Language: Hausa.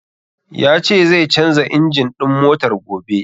Ya ce zai canja injin ɗin motar gobe.